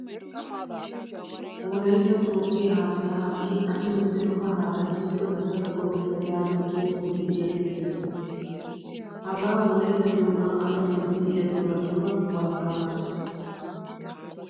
Wolaytta toophphiyaa haasayaa hai asi medhdhido kahaara issippe gattada go'ettaa yaagiyaa xuufe de'iyage beettees. Hagaaa wolaytta doonaa alamiyan de'iyaa doonaturaa walakanansa.